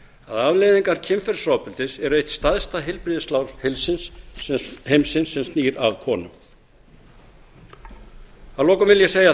að afleiðingar kynferðisofbeldis eru eitt stærsta heilbrigðisvandamál heimsins sem snýr að konum að lokum vil ég segja